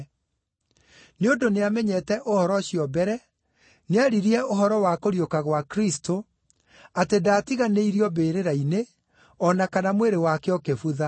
Nĩ ũndũ nĩamenyete ũhoro ũcio mbere, nĩaririe ũhoro wa kũriũka gwa Kristũ, atĩ ndaatiganĩirio mbĩrĩra-inĩ, o na kana mwĩrĩ wake ũkĩbutha.